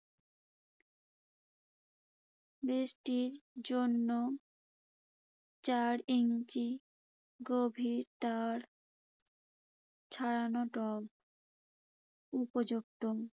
বৃষ্টির জন্য চার ইঞ্চি গভীরতার ছড়ানো টব উপযুক্ত।